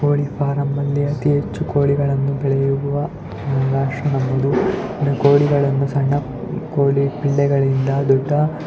ಕೋಳಿ ಫಾರಂ ಗಳಲ್ಲಿ ಅತಿ ಹೆಚ್ಚು ಕೋಳಿಗಳನ್ನು ಬೆಳೆಯುವ ಜಾಗ ಕೋಳಿಗಳನ್ನು ಸಣ್ಣ ಕೋಳಿ ಪಿಳ್ಳೆಗಳಿಂದ ದೊಡ್ಡ.--